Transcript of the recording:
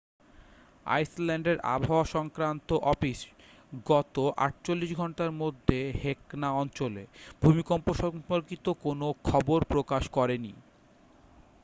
আইসল্যান্ডের আবহাওয়া সংক্রান্ত অফিস গত 48 ঘন্টার মধ্যে হেকলা অঞ্চলে ভূমিকম্প সম্পর্কিত কোন খবর প্রকাশ করেনি